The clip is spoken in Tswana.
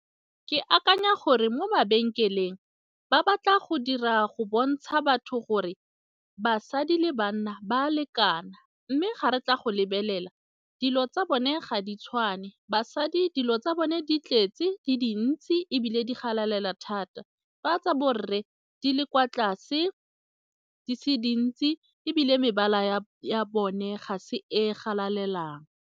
Le akanya gore mo mabenkeleng ba batla go dira go bontsha batho gore basadi le banna ba a lekana mme ga re tla go lebelela, dilo tsa bone ga di tshwane basha dilo tsa bone di tletse di dintsi ebile di galalela thata fa tsa borre di le kwa tlase, di se dintsi ebile mebala ya bone ga se e galaleng.